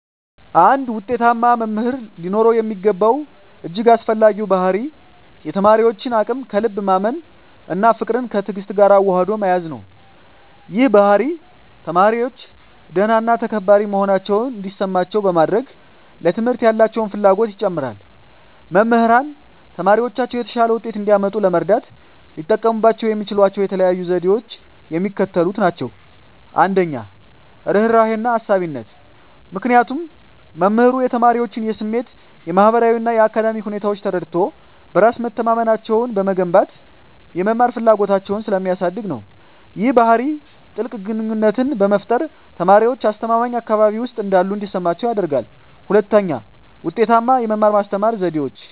አንድ ውጤታማ መምህር ሊኖረው የሚገባው እጅግ አስፈላጊው ባሕርይ የተማሪዎችን አቅም ከልብ ማመን እና ፍቅርን ከትዕግስት ጋር አዋህዶ መያዝ ነው። ይህ ባሕርይ ተማሪዎች ደህና እና ተከባሪ መሆናቸውን እንዲሰማቸው በማድረግ፣ ለትምህርት ያላቸውን ፍላጎት ይጨምራል። መምህራን ተማሪዎቻቸው የተሻለ ውጤት እንዲያመጡ ለመርዳት ሊጠቀሙባቸው የሚችሏቸው የተለዩ ዘዴዎች የሚከተሉት ናቸው - 1, ርህራሄና አሳቢነት -ምክንያቱም መምህሩ የተማሪዎቹን የስሜት፣ የማህበራዊ እና የአካዳሚክ ሁኔታዎች ተረድቶ፣ በራስ መተማመናቸውን በመገንባት የመማር ፍላጎታቸውን ስለሚያሳድግ ነው። ይህ ባህሪ ጥልቅ ግንኙነትን በመፍጠር፣ ተማሪዎች አስተማማኝ አካባቢ ውስጥ እንዳሉ እንዲሰማቸው ያደርጋል። 2, ውጤታማ የመማር-ማስተማር ዘዴዎች